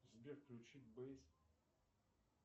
сбер включи бейс